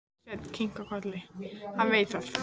Svenni kinkar kolli, hann veit það.